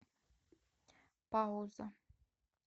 пауза